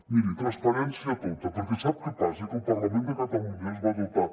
miri transparència tota perquè sap què passa que el parlament de catalunya es va dotar